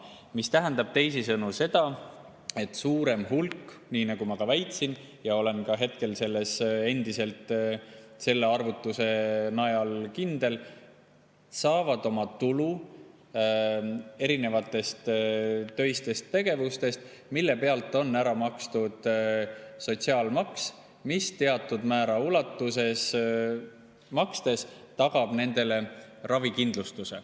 See tähendab teisisõnu seda, et suurem hulk – nii ma väitsin ja olen selles endiselt selle arvutuse najal kindel – saab oma tulu erinevatest töistest tegevustest, mille pealt on ära makstud sotsiaalmaks, mis sellisel juhul, kui seda teatud määra ulatuses makstakse, tagab nendele ravikindlustuse.